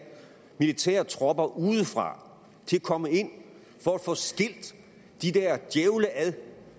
militære tropper udefra til at komme ind for at få skilt de der djævle ad